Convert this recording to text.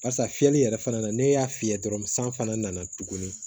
Barisa fiyɛli yɛrɛ fana na ne y'a fiyɛ dɔrɔn san fana na tuguni